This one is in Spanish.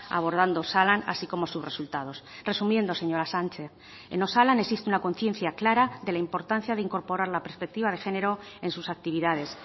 abordando osalan así como sus resultados resumiendo señora sánchez en osalan existe una conciencia clara de la importancia de incorporar la perspectiva de género en sus actividades